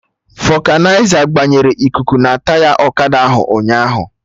Vọkanịza gbanyere ikuku na taya ọkada ahụ ụnyaahụ